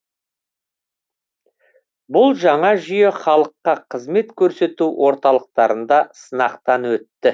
бұл жаңа жүйе халыққа қызмет көрсету орталықтарында сынақтан өтті